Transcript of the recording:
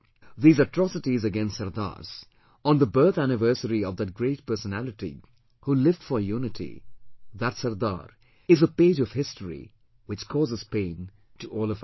These atrocities against Sardars on the birth anniversary of that great personality who lived for unity, that SARDAR, is a page of history, which causes pain to all of us